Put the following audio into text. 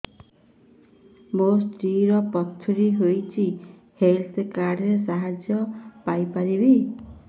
ମୋ ସ୍ତ୍ରୀ ର ପଥୁରୀ ହେଇଚି ହେଲ୍ଥ କାର୍ଡ ର ସାହାଯ୍ୟ ପାଇପାରିବି